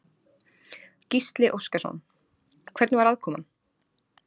Gísli Óskarsson: Hvernig var aðkoman?